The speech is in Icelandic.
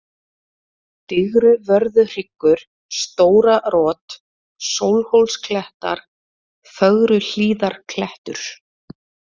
Digruvörðuhryggur, Stóra-Rot, Sólhólsklettar, Fögruhlíðarklettur